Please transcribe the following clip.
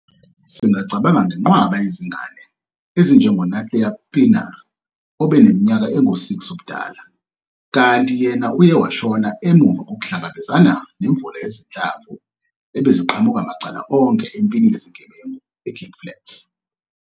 Singacabanga nenqwaba yezingane, ezinjengo-Nathlia Pienaar obene minyaka engu-6 ubudala, kanti yena uye washona emuva kokuhlangabezana nemvula yezinhlamvu ebeziqhamuka macala onke empini yezigebengu eCape Flats.